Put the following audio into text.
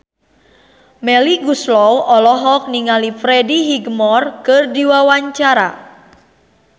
Melly Goeslaw olohok ningali Freddie Highmore keur diwawancara